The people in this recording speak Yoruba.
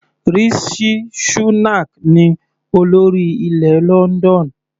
Rishi Shunak ní olórí ilẹ̀ London.